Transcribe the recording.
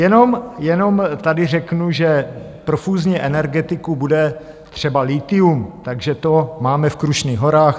Jenom tady řeknu, že pro fúzní energetiku bude třeba lithium, Takže to máme v Krušných horách.